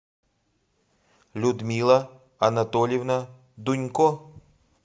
людмила анатольевна дунько